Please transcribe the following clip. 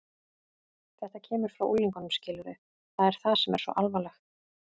Þetta kemur frá unglingunum, skilurðu, það er það sem er svo alvarlegt.